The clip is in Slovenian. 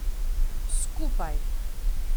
Skupaj!